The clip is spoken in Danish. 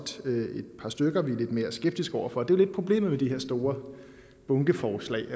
et par stykker vi er lidt mere skeptiske over for det er lidt problemet med de her store bunkeforslag